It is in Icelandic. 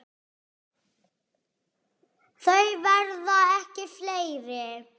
Þau verða ekki fleiri.